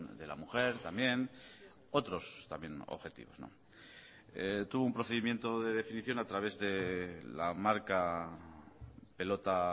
de la mujer también otros también objetivos tuvo un procedimiento de definición a través de la marca pelota